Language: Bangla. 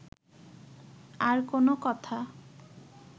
আর কোন কথা